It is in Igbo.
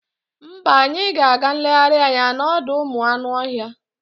Mba, anyị ga-aga nlegharị anya n'ọdọụmụanụọhịa